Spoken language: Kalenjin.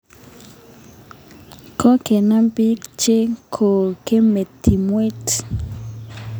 Kokenam piik che kong'eme timwek